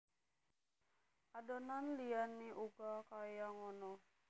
Adonan liyane uga kaya ngono